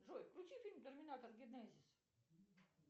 джой включи фильм терминатор генезис